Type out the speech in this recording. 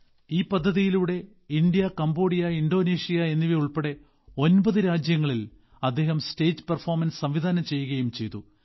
ഈ പദ്ധതിയിലൂടെ India Cambodia Indonesia എന്നിവയുൾപ്പെടെ ഒമ്പത് രാജ്യങ്ങളിൽ അദ്ദേഹം സ്റ്റേജ് അവതരണം സംവിധാനം ചെയ്യുകയും ചെയ്തു